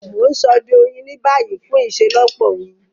Mo n sode oyin ni bayi fun iṣelọpọ oyin.